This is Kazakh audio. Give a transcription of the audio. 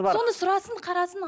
соны сұрасын қарасын